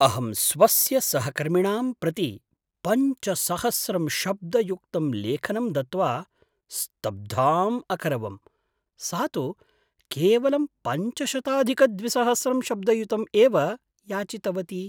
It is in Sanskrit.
अहं स्वस्य सहकर्मिणां प्रति पञ्च सहस्रं शब्दयुक्तं लेखनं दत्त्वा स्तब्धाम् अकरवं, सा तु केवलं पञ्चशताधिकद्विसहस्रं शब्दयुतं एव याचितवती